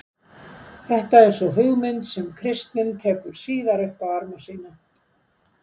Þetta er sú hugmynd sem kristnin tekur síðar upp á arma sína.